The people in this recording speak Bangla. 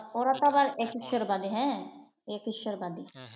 ওরা তো আবার এক ঈশ্বরবাদী হ্যাঁ । এক ঈশ্বরবাদী।